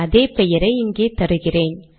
அதே பெயரை இங்கே தருகிறேன்